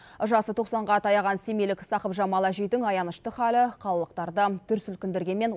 жасы тоқсанға таяған семейлік сақыпжамал әжейдің аянышты халі қалалықтарды дүр сілкіндіргенмен